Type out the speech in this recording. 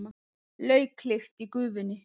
Lauklykt í gufunni.